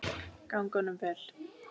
Gangi honum vel!